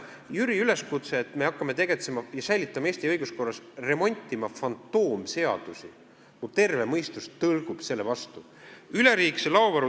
Jüri üleskutse, et hakkame Eesti õiguskorras säilitama ja remontima fantoomseadusi – minu terve mõistus tõrgub selle vastu.